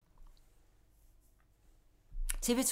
TV 2